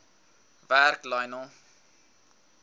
werk lionel